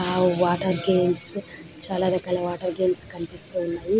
ఆ వాతెర్గామేస్ చాల రకాల వాతెర్గామేస్ కనిపిస్తునై.